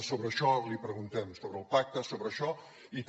sobre això li preguntem sobre el pacte sobre això i també